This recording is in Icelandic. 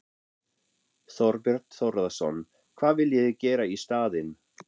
Þorbjörn Þórðarson: Hvað viljið þið gera í staðinn?